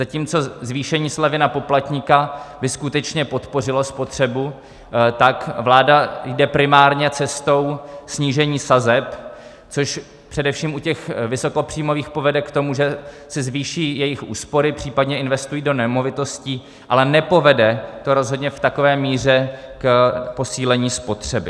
Zatímco zvýšení slevy na poplatníka by skutečně podpořilo spotřebu, tak vláda jde primárně cestou snížení sazeb, což především u těch vysokopříjmových povede k tomu, že se zvýší jejich úspory, případně investují do nemovitostí, ale nepovede to rozhodně v takové míře k posílení spotřeby.